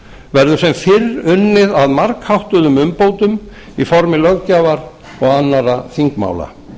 verður sem fyrr unnið að margháttuðum umbótum í formi löggjafar og annarra þingmála